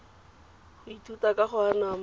ya ithutiwa ka go anama